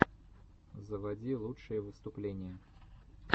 заводи лучшие выступления